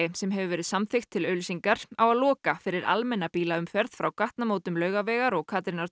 sem hefur verið samþykkt til auglýsingar á að loka fyrir almenna bílaumferð frá gatnamótum Laugavegar og